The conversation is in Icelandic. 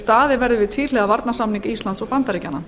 staðið verði við tvíhliða varnarsamning íslands og bandaríkjanna